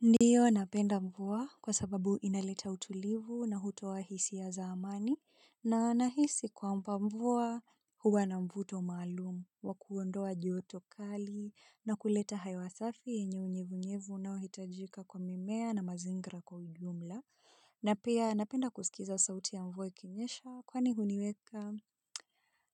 Ndiyo napenda mvua kwa sababu inaleta utulivu na hutoa hisia za amani na nahisi kwamba mvua huwa na mvuto maalumu wa kuondoa joto kali na kuleta hewa safi yenye unyevunyevu unaohitajika kwa mimea na mazingira kwa ujumla na pia napenda kusikiza sauti ya mvua ikinyesha kwani huniweka